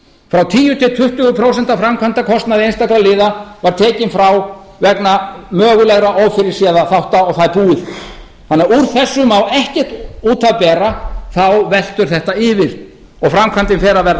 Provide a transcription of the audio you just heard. frá tíu til tuttugu prósent af framkvæmdakostnaði einstakra liða var tekinn frá vegna mögulegra ófyrirséðra þátta og það er búið úr þessu má því ekkert út af bera þá veltur þetta yfir og framkvæmdin fer að verða